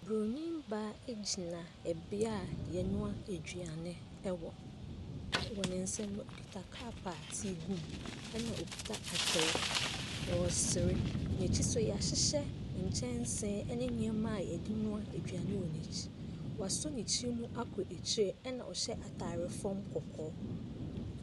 Bronin baa gyina beaeɛ a wɔnoa aduane wɔ. Wɔ ne nsa mu no, ɔkita cup a tea wɔ mu, ɛna ɔkita atere. N'akyi nso, wɔahyehyɛ nkyɛnsee ne nneɛma a wɔde nnoa aduane wɔ n'akyi. Wasɔ ne tirinwi mu akɔ akyire, ɛna ɔhyɛ atadeɛ fam kɔkɔɔ.